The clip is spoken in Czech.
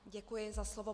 Děkuji za slovo.